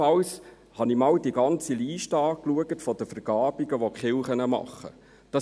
Auch habe ich die ganze Liste der Vergabungen angeschaut, welche die Kirchen tätigen.